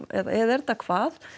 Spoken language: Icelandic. eða er þetta hvað